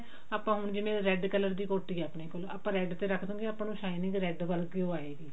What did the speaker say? ਆਪਾਂ ਹੁਣ ਜਿਵੇਂ red color ਦੀ ਕੋਟੀ ਆ ਆਪਣੇ ਕੋਲ ਆਪਾਂ red ਤੇ ਰੱਖਦਾ ਗੇ ਆਪਾਂ ਨੂੰ shining red ਵਰਗੀ ਓ ਆਏਗੀ